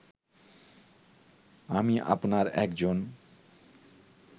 আমি আপনার একজন